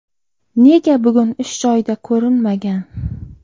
Nega bugun ish joyida ko‘rinmagan?